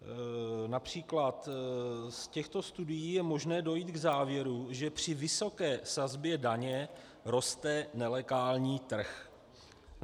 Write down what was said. Například: Z těchto studií je možné dojít k závěru, že při vysoké sazbě daně roste nelegální trh.